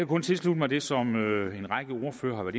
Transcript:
kun tilslutte mig det som en række ordførere